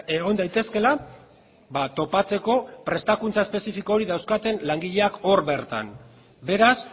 egon daitezkeela topatzeko prestakuntza espezifiko hori dauzkaten langileak hor bertan beraz